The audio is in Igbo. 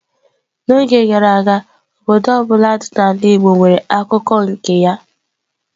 N'oge gara aga, obodo ọ bụla dị n'ala igbo nwere akụkọ nke ya.